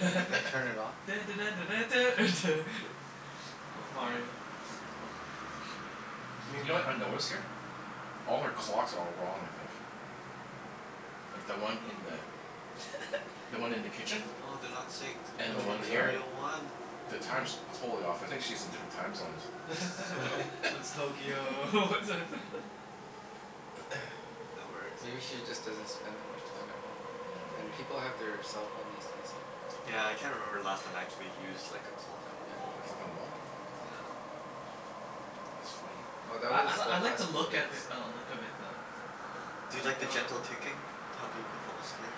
Yeah. Turn it on? Dun dun dun dun dun duh, duh. It's Oh, man. Mario, yeah. Y- you know what I notice here? All her clocks are all wrong, I think. Like, the one in the the one in the kitchen? Oh, they're not synced. And Which the Oh yeah, one one's th- you're the here? right. real one? The time's Mm. totally off. I think she's in different time zones. One's Tokyo, one's a That works. Maybe she just doesn't spend that much time at home, right? Yeah, maybe. And people have their cell phone these days. Yeah, I can't remember the last time I actually used like a clock on a Yeah. A wall. clock on the wall? Yeah. That's funny. Oh, that Yeah. I was l- the I like high the school look of days. i- uh look of it though. uh-huh. Do you Like, like the uh gentle ticking to help you go fall asleep?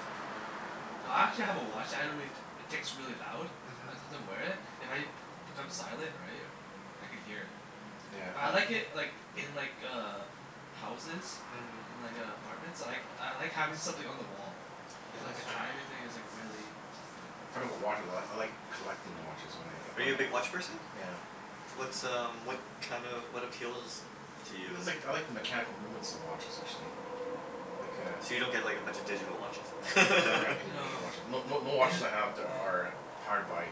I actually have a watch that I really, t- ticks really loud. Mhm. Sometimes I wear it. If I b- become silent, right? I can hear it. Yeah, But I but like it like in like uh houses. Mhm. In like uh apartments. I like I like having something on the wall. Yeah, So Oh. like a that's true. timing thing is like really Yeah. Talking about watches a lot. I like collecting watches oh wh- if Are I you a big h- watch person? Yeah. What's um what kind of, what appeals to It's you? like, I like the mechanical movements of watches, actually. Like a So you don't get like a bunch of digital watches I then? have never have any digital No. watches. No no no Yeah. watches I have there are powered by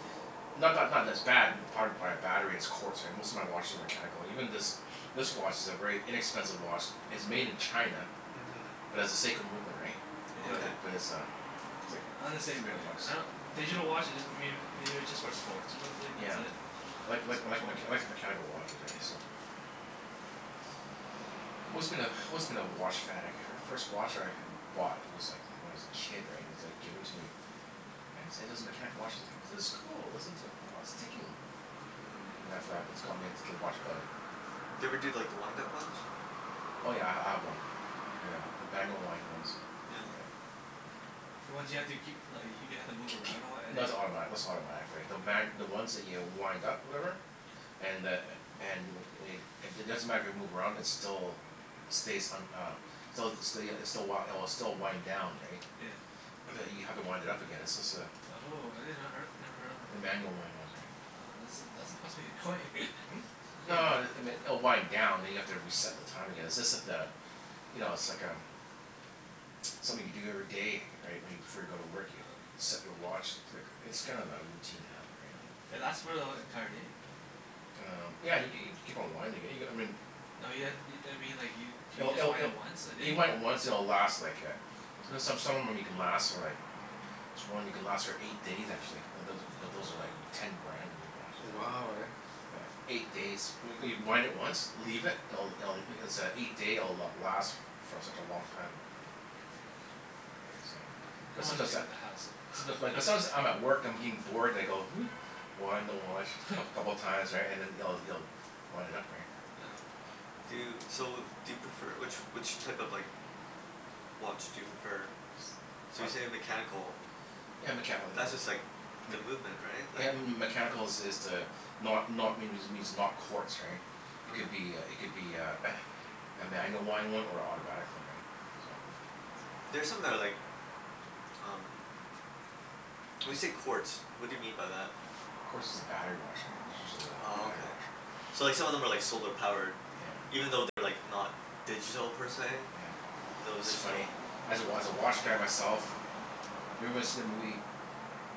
Yeah. Not not not that it's bad powered by a battery it's quartz Most of my watches are mechanical. Even this this watch is a very inexpensive watch it's made in China Mhm. but has a Seiko movement, right? But Yeah. Okay. it, but it's a it's Yeah, I'm the like three same hundred way. bucks. I don- Digital watches just mayb- maybe just for sports or something. That's Yeah. it. Like like Sports like mech- watches. like a mechanical watches, right? Yeah. So Always been a, always been a watch fanatic. My first watch I h- bought was like when I was a kid, right? And it's like given to me. And it's it is mechanical watch as I go, "This is cool. Listen to it. Oh, it's ticking." Mm. And after that that's got me into the watch bug. Do you ever do like the wind-up ones? Oh yeah, I h- I have one. Yeah. A manual wind ones. Yeah. Yeah. Yeah, the ones you have to keep li- y- you have to K- move kee- around a lot and no like that's automatic, that's not automatic, right? The ma- the ones that you wind up, whatever? Yeah huh. And the a- and w- wade it doesn't matter if you move around it's still stays un- uh Stelz the still ya it's the w- it'll still wind down, right? Yeah. But you have to wind it up again, it's just a Oh, I did not her- never heard of the them. manual wind ones, right? Oh, that's a that's must be annoying. Hmm? Must be No annoying. it it m- oh wind down and you have to reset the time again. It's just that uh You know, it's like um something you do every day, right? When you, before you go to work, you Oh. set your watch. Click. It's kind of a routine habit, right? Oh. And that's for the e- entire day? Um, yeah y- g- you keep on winding it, you g- I mean No you ha- i- I mean like you do you It'll just it'll wind it'll it once a You day? might once and it'll last like a there's some, some of them you can last for like this one you can last for eight days, actually. It doesn't but those are like Oh, ten okay. Yeah. grand, those watches, right? Wow, right? Oh. Yeah, eight days. When y- wind it once Leave it. It'll it'll it's a eight day it'll last for such a long time. Mm. Right? So Mm. I Um But don't wanna sometimes deal that with the hassle. Someti- but sometimes I'm at work, I'm getting bored, and I go Wind the watch coup- couple of times, right? And then you'll you'll wind it up, right? Yeah. Do you, Yeah. so do you prefer, which which type of like watch do you prefer? So I you say mechanical. Yeah, mechani- like That's mm just like the mech- movement, right? Yeah, Like m- m- m- mechanical is is the not not means it means not quartz, right? It could be a Okay. it could be a a manual wind one or a autobatic one, right? So There's something that I like um When you Tis- say quartz, what do you mean by that? Quartz is a battery watch, right? It's usually the Oh, battery okay. watch. So, like some of them are like solar powered? Yeah. Even though they're like not digital, per se? Yeah. Those It's are funny. still As a wa- as a watch guy myself Have you ever watched them Lee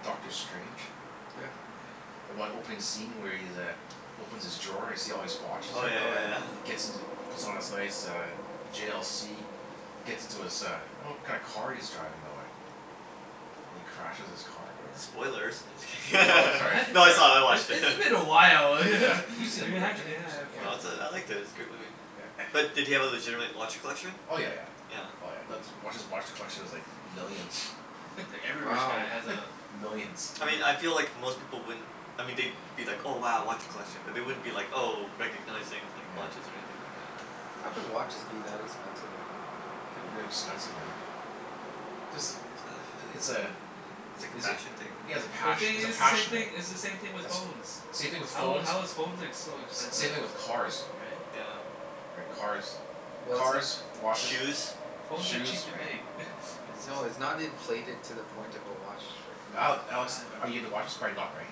Dr. Strange? Yeah. Yeah. The one opening scene where he's uh opens his drawer and you see all these watches Oh, yeah there? Oh yeah yeah. yeah. And it Yeah. gets into puts on his nice uh J l c gets into his uh I don't know what kind of car he's driving though, eh? And he crashes his car or whatever. Yeah. Spoilers. No, just Oh, wait, kidding. sorry. What? No, Sorry. it's all, I It's watched it. it's been a while. Yeah. You've seen the Yeah, movie, yeah right Jimmy? You s- yeah of yeah. course, No, it's a, I yeah. liked it. It's a good movie. Yeah. Yeah. But did he have a legitimate watch collection? Oh, yeah yeah. Yeah. Yeah. Oh yeah. That's watch, his watch collection is like millions. Yeah. Yeah, like every rich guy Wow. has a Millions. I mean I feel Yeah. like Wow. most people wouldn't I mean they'd be like, "Oh, wow, watch collection." But they wouldn't be like, oh, recognizing like Yeah. watches or anything like that. Mm. How can watches be that expensive, right? Ooh, they're expensive, man. Just the i- i- it's a It's like a is it fashion thing, yeah, it's a But the maybe? pash- thing it's a is, it's the same passion, right? thing, it's the same thing with That's phones. same thing with How phones. how is phones ex- so S- same expensive? thing with cars. Right? Yeah. Right. W- Cars. Well, it's no- Cars, watches Shoes. Phones are shoes, cheap to right. make. It's just No, it's not inflated to the point of a watch that can be Ale- Alex, I are you um into watches? Probably not, right?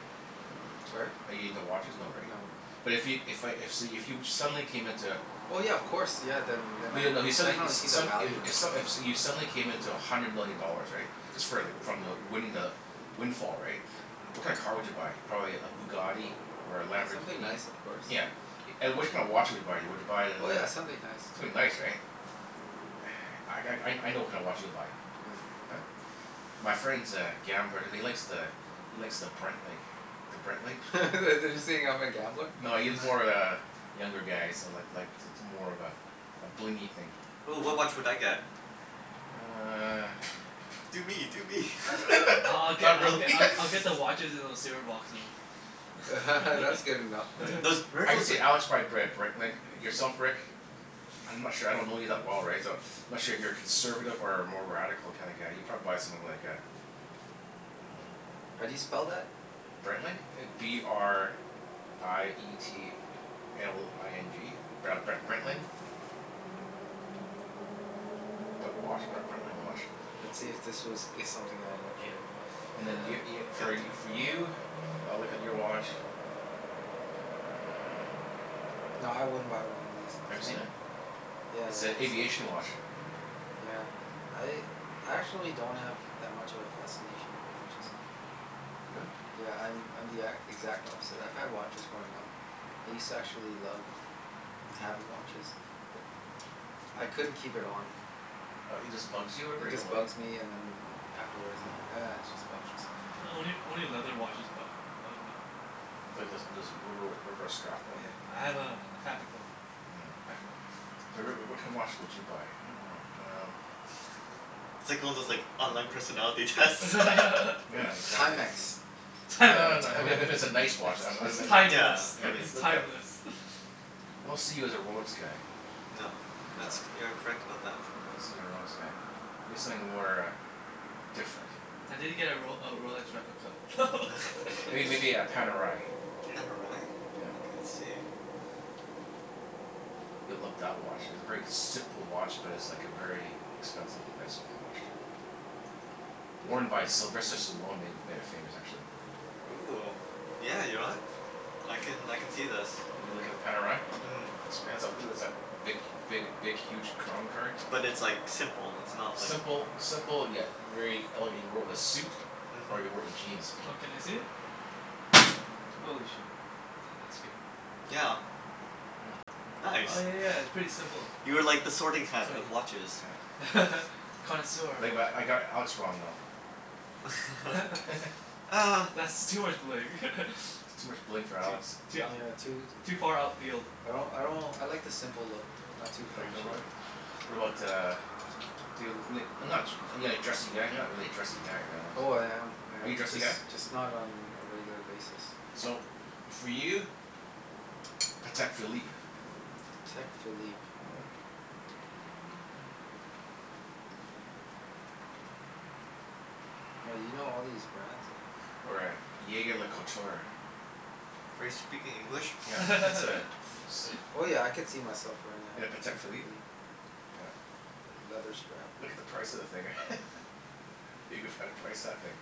Sorry? Are you into watches? No, right? No, no. But if yo- if I if so you if you suddenly came into Oh yeah, of course. Yeah, then then But I'd you no if you suddenly e- definitely see s- the some value i- in if it. s- if you suddenly came into a hundred million dollars, right? Just for like from the winning the windfall, right? Yeah. What Mhm. kinda car would you buy? Probably a Bugatti? Or a Yeah, something Lamborghini? nice of course. Yeah. And which kind of watch would you buy? Would you buy the Oh the yeah, something nice, Something yeah. nice, right? I g- I I know what kinda watch you'll buy. What? Huh? My friend's a gambler and he likes the he likes the Breitling. The Breitling. Oh. Are you saying uh-huh. I'm a gambler? No, he's more of a younger guy, so like like it's it's more of a a blingy thing. Ooh, what Oh watch would I yeah. get? You uh Do me! Do me! I I I'll get Not I'll really. get I I'll get the watches in those c r boxes. That's good enough for Uh, me. Those, where are I could those see like Alex buy a Br- Breitling. Yourself Rick? I'm not sure. I don't know you that well, right? So I'm Mhm. not sure if you're a conservative or a more radical kinda guy. You'd probably buy something like a Um How do you spell that? Breitling? B r i e t l i n g Br- Bre- Breitling. P- put watch, B- Breitling watch. Let's see if this was is something I'd Yeah. actually buy. And Okay. then y- y- Go for ahead, y- for do you? I'll look at your watch Ah Nah, I wouldn't buy one of these. Have you seen Sorry. it? Yeah, It's yeah. a The same aviation features. watch. Yeah. I I actually don't have that much of a fascination for watches. Really? Yeah, I'm I'm the e- exact opposite. I've had watches growing up. I used to actually love having watches. But I couldn't keep it on. Uh it just bugs you or Yeah, whatever? it You don't just like it? bugs me and then afterwards I'm like Oh. "Ah, it's just watches." Only only leather watches bu- bug me. Well there's there's rubber rubber strap Oh one. yeah, I have a a fabric one. Nyeah. Fabric one. So Rick, w- what kind of watch Yeah. would you buy? I dunno. Um It's like one of those like online personality tests. Yeah, exactly. Timex. You'd buy a No, no, I mean if it Time- if it's a nice It's watch I'd b- I'd it's be like Yeah, timeless. I Yeah, mean like It's look at timeless. I don't see you as a Rolex guy. No. That's, No. you are correct about that. I don't see you a Rolex guy. Maybe something more uh different. I did get a Rol- a Rolex replica. Are you It maybe a Panerai? Pan o rye? Yeah. Okay, let's see. You'll love that watch. It's a very simple watch, but it's like a very expensive, nice looking watch, too. Worn by Sylvester Panerai. Stallone made it made it famous, actually. Ooh, yeah, you know what? I can I can see this. You l- look at the Panerai? Mm. Looks pants off it'll is that big big big huge crown card. But it's like simple, it's not like Simple simple yet very elegant. He wore it with a suit. Or you could wear Mhm. it with jeans. Oh, can I see it? Ooh. Holy shit, that that scared me. Yeah. Yeah. Nice. Oh yeah yeah, it's pretty simple. You are like the sorting Huh. hat of Clean. watches. Yeah. Connoisseur of Like what? but I got Alex wrong, though. Ah That's too much bling. Too much bling for Too Alex. too Yeah, too ou- too far outfield I don't, I don't, I like the simple look. Not too You like flashy. simple What about Yeah. uh Feel it n- not too are you like dressy guy? You're not really a dressy guy, right Alex? Oh, I am I Are you am. dressy Just guy? just not on a regular basis. So, for you Patek Philippe. Patek Philippe. Yeah. Oh, you know all these brands, eh? Or a jaeger-lecoultre. Are you speaking English? Yeah. It's a it's Oh yeah, I a could see myself wearing In a a Patek Patek Philippe? Philippe, yeah. Yeah. Yeah, leather strap. Look at the price of the thing. You can find a price of that thing.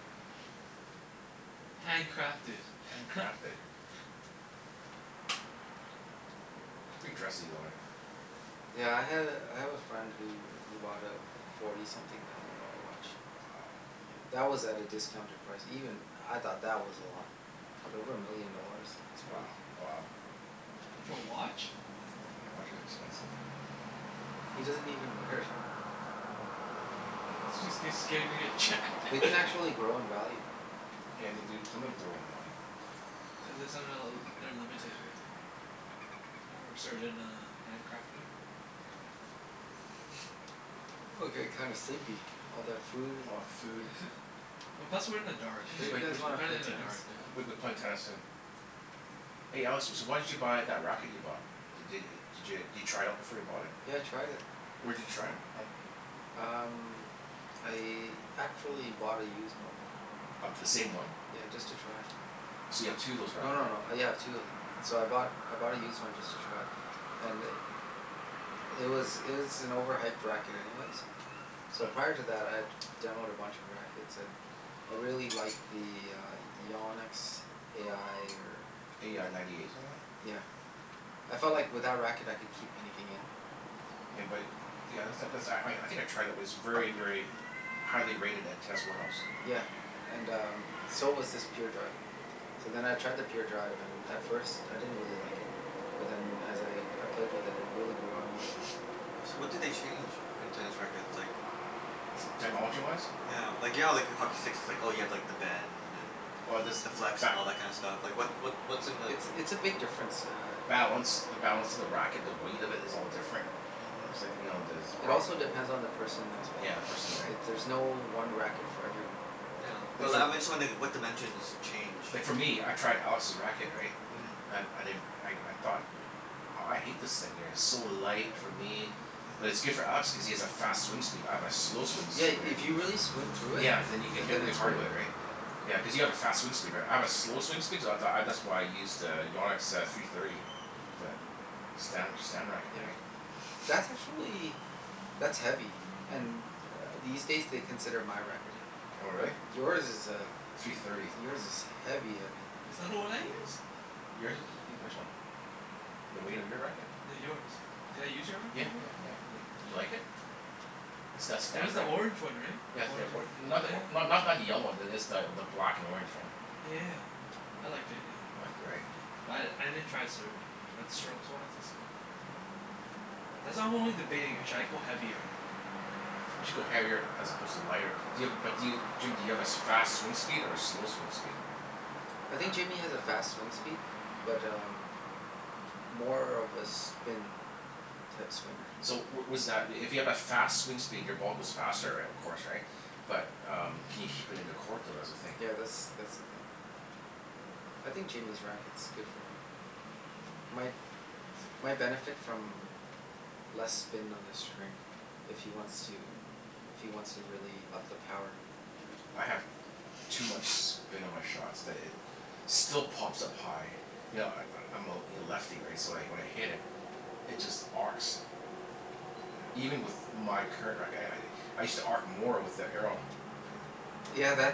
Hand crafted. Hand crafted. Pretty dressy though, eh? Yeah, I had a, I have a friend who who bought a forty something thousand dollar watch. Wow. Yeah. That was at a discounted price. Even I thought that was a lot. But over a million dollars? That's Wo- crazy. wow. For a watch? Yeah. Yeah, watch is expensive. He Mm. doesn't even wear it. Jus- cuz scared he's gonna get jacked. They can actually grow in value, though. Yeah, they do, some of them Yeah. grow in value. Cuz it somehow l- they're limited, right? Right? Or a certain uh hand crafter? Yeah. Oh, I'm getting kind of sleepy. All that food and All that food. Well, plus we're in the dark, We Sure should too. you play, guys we should, We're w- wanna kinda play in the tennis? dark duh w- we be playing tennis soon. Oh. Hey Alex, s- so why did you buy that racket you bought? D- d- did you try it out before you bought it? Yeah, I tried it. Where did you try it from? Um, I actually bought a used one. Of the same one? Yeah, just to try. Oh, so you have two of those No rackets no no. now? Yeah, I have two of them. So I bought, I bought a used one just to try. And i- it was it was an overhyped racket anyways. So Uh prior to that I had demoed a bunch of rackets and I really liked the uh Yannick's a i or A i ninety eight, something like that? Yeah. I felt like with that racket I could keep anything in. Yeah but, yeah that's not, cuz I I think I tried it. It was very, very highly rated at test warehouse. Yeah, and um so was this Pure Drive. So then I tried the Pure Drive and at first, I didn't really like it. But then as I I played with it, it really grew on me. So, what do they Uh change in tennis rackets? Like technology-wise? Yeah. Like, you know like how hockey sticks it's like, oh you have like the bend and Oh this, the flex, and ba- all that kind of stuff? Like what what what's in the It's it's a big difference, uh Balance. The Yeah. balance of the racket. The weight of it is all different. Mhm. It's like, you know, there's Yeah. It grommet also hole depends on the person as well. Yeah, the person, right? It, there's no one racket for everyone. Yeah, but Like, li- for I'm just wondering what dimensions change? Like for me, I tried Alex's racket, right? Yeah. Mhm. And I di- I I thought that aw I hate this thing here. It's so light for me. But it's Mhm. good for Alex cuz he has a fast swing speed. I have a slow swing Yeah, speed, right? if you really swing through it Yeah, then you can hit then really it's hard great. with it, right? Yeah. Yeah, Mhm. Mm. cuz you have a fast swing speed, right? I have a slow swing speed so th- I that's why I use to Yannick's uh three thirty. The Stan Stan racket, Yeah. right? That's actually that's heavy. And uh these days they consider my racket heavy. Oh, But really? yours is uh, Three thirty. yours is heavy heavy. Is that the one I use? Yours is e- which one? The weight of your racket? No, yours. Did I use your Yeah racket before? yeah Huh. yeah yeah. Did you like it? The St- It was Stan the rack- orange one, right? The Yeah the orange or- and, oh not the or- yeah. not not the yellow one. It's the the black and orange, yeah. Yeah yeah yeah. I liked it, yeah. You liked it, right? Yeah. But I I didn't try it serving. But strokes-wise it's good, yeah. Yeah. That's I'm only debating. Should I go heavier? You should go heavier as opposed to lighter. Do you have a, but do you, Jim do you have as fast swing speed or a slow swing speed? I Huh? think Jimmy has a fast swing speed. But um more of a spin type swinger. So w- was that i- if you have a fast swing speed your ball goes faster, right, of course, right? But um can you keep it in the court though? That's the thing. Yeah, that's that's the thing. I think Jimmy's racket's good for him. My my benefit from less spin on the string. If he wants Hmm. to if he wants to really up the power, Mm. right? I have too much spin on my shots that it still pops up high. You know I- I'm I'm a l- lefty, right? So wh- when I hit it it just arcs. Yeah. Even with my current racket. I I I I used to arc more with the Arrow. Yeah, that's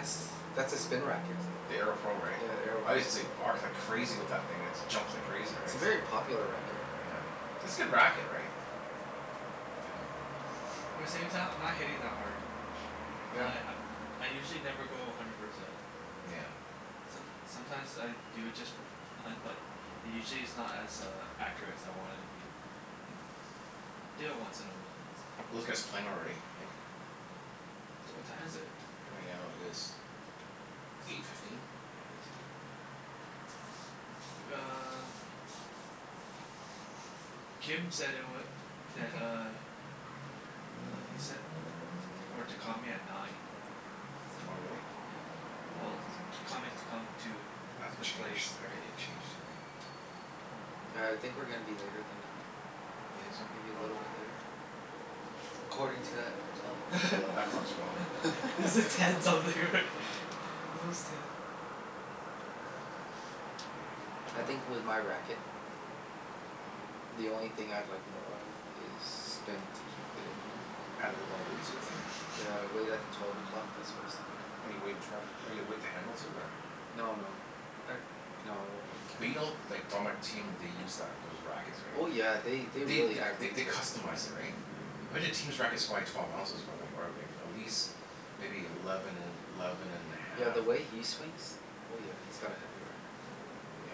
that's a spin racket. The Arrow Pro, right? Yeah, the Arrow I Pro. used to arc like crazy with that thing. It just jumps like crazy, It's right? a very popular racket. Yeah. It's good racket, right? Yeah. Yeah. But at the same time, I'm not hitting that hard. Yeah. Li- I'm I usually never go a hundred percent. Nyeah. Yeah. Som- sometimes I do it just for f- fun, but usually it's not as uh accurate as I want it to be. Mm. So, do it once in a while. So Are those guys playing already, you think? D- what time is it? Right now it is eight fifteen. Eight fifteen? Yeah. W- uh Kim said it wa- that uh uh he said i- t- for to call me at nine. So, Oh, really? yeah. Well to call me to come to I have to the place, change, I have to right? get Yeah. changed here, Yeah. right? All right. Yeah, I think we're gonna be later than nine. You think Maybe a so? Oh. little bit later? According to that clock. Well th- that clock's wrong. Is it ten something, right? It was ten. I Yeah, aw think I with my racket um the only thing I'd like more of is spin to keep it in more. Add a little more Mm. weight sort of thing? Yeah, weight at the twelve o'clock, that's what I was thinking. Oh, you weight at twelve oh, you weight the handle too, or No no. I, no, I won't weight the But you know handles. like what they use that those rackets, right? Oh yeah, they they They really th- add th- weight they to it. customize it, right? Yeah. I bet that team's racket's probably twelve ounces probably, or like at least maybe eleven and eleven and a Yeah, half, the or way he swings Oh yeah, he's got a heavy racket. Yeah.